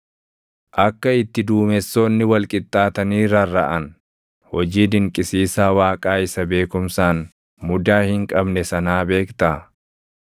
Akka itti duumessoonni wal qixxaatanii rarraʼan, hojii dinqisiisaa Waaqaa isa beekumsaan mudaa hin qabne sanaa beektaa?